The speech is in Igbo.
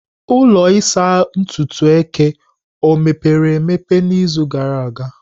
Ụlọ ịsa ntutu eke o emepere emepe n'izu gara aga?